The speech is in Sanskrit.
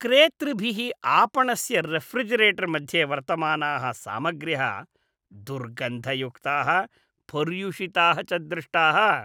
क्रेतृभिः आपणस्य रेफ़्रिजिरेटर् मध्ये वर्तमानाः सामग्र्यः दुर्गन्धयुक्ताः, पर्युषिताः च दृष्टाः।